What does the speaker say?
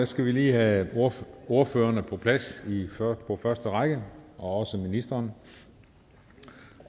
skal vi lige have ordførerne på plads på første række og også ministeren